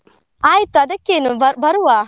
ಆಯ್ತು ಅದಕ್ಕೇನು ಬ~ ಬರುವ.